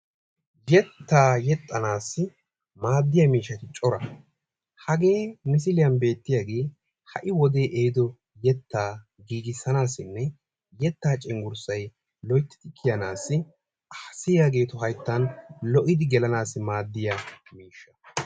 Yetta yexxanassi maadiyaa miisshshati cora. hage ha misiliyaa be'iyooge ha'i wode ehido giigisanassinne yetta cenggurarssay loyttidi kiyanasi haasayiyaageetu miishshay loyttidi kiyaanassi maadiyaa miishsha.